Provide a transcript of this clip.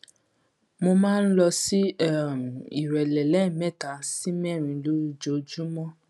mo máa ń lọ sí um ìrẹlẹ lẹẹmẹta sí mẹrin lójoojúmọ